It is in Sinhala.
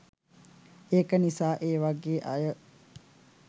ඒක නිසා ඒ වාගේ අය